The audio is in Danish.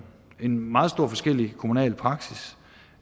en meget forskellig kommunal praksis